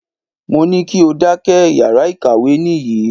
Mo ní kí o dákẹ́! Yàrá ìkàwé nìyí.